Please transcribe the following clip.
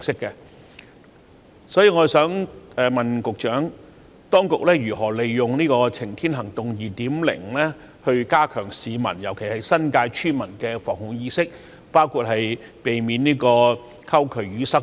就此，我想問局長，當局會如何利用"晴天行動 2.0"， 加強市民，特別是新界村民的防護意識，包括避免溝渠淤塞等？